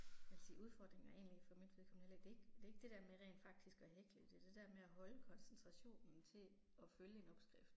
Jeg vil sige udfordringen er egentlig for mit vedkommende heller ikke, det er ikke, det er ikke det der med rent faktisk at hækle, det er det der med at holde koncentrationen til at følge en opskrift